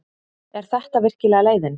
Er þetta virkilega leiðin?